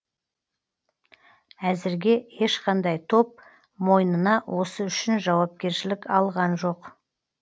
әзірге ешқандай топ мойнына осы үшін жауапкершілік алған жоқ